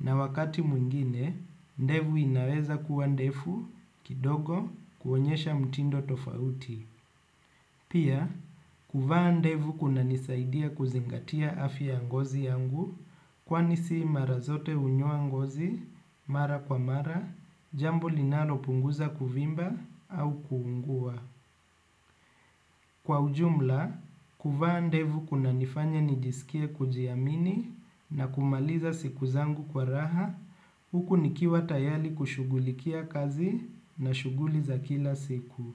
na wakati mwingine, ndevu inaweza kuwa ndefu kidogo kuonyesha mtindo tofauti. Pia, kuvaa ndevu kuna nisaidia kuzingatia afya ya ngozi yangu, kwani si marazote hunyoa ngozi, mara kwa mara, jambo linalo punguza kuvimba au kuungua. Kwa ujumla, kuvaa ndevu kuna nifanya nijisikie kujiamini na kumaliza siku zangu kwa raha huku nikiwa tayali kushugulikia kazi na shuguli za kila siku.